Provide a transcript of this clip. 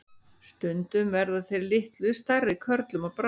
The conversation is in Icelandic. Stundum verða þeir litlu stærri körlum að bráð.